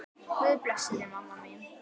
Guð blessi þig, mamma mín.